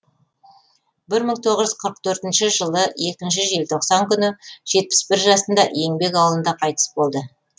бір мың тоғыз жүз жетпіс төртінші жылы екінші желтоқсан күні жетпіс бір жасында еңбек ауылында қайтыс болды